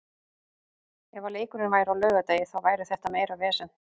Ef að leikurinn væri á laugardegi þá væri þetta meira vesen.